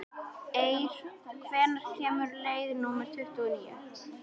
Eir, hvenær kemur leið númer tuttugu og níu?